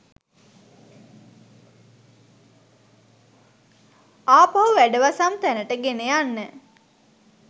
ආපහු වැඩවසම් තැනට ගෙනයන්න.